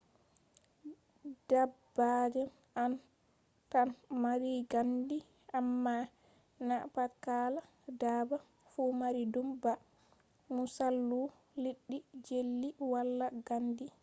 dabbaji on tan mari gandi amma na pat kala dabba fu mari dum ba; musalu liddi jelly wala gandi